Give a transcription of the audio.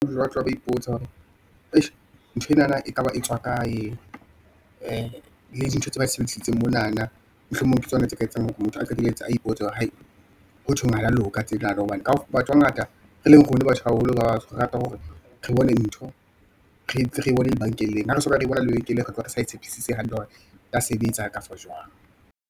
Ipotsa hore ntho enana ekaba e tswa kae, ee, le dintho tse ba sebedisitseng monana. Mohlomong ke tsona tse ka etsang hore motho a qetelletse a ipotsa hore, hotjhong ha le ya loka tsenana, hobane ka o fe batho hangata e leng rona batho haholo batsho baholo, re rata hore re bone ntho re ntse re bone lebenkeleng, ha re se re bona lebenkeleng, re utlwa re sa tshepisitse hantle hore e ka sebetsa, kafa jwang.